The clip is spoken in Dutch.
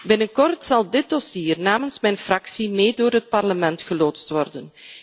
Binnenkort zal dit dossier namens mijn fractie mee door het Parlement geloodst worden.